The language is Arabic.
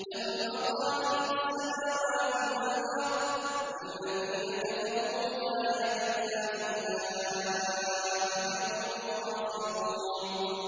لَّهُ مَقَالِيدُ السَّمَاوَاتِ وَالْأَرْضِ ۗ وَالَّذِينَ كَفَرُوا بِآيَاتِ اللَّهِ أُولَٰئِكَ هُمُ الْخَاسِرُونَ